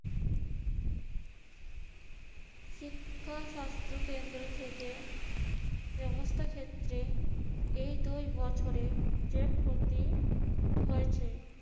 শিক্ষা-স্বাস্থ্যকেন্দ্র থেকে ব্যবস্থা ক্ষেত্রে এই দুই বছরে যে ক্ষতি হয়েছে